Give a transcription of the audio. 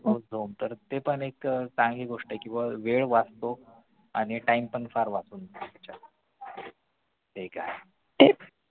ते पण एक चांगली गोष्ट आहे कि बाबा वेळ वाचतो आणि time पण फार वाचून जातो तुमचा जे काही आहे